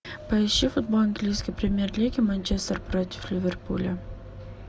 поищи футбол английской премьер лиги манчестер против ливерпуля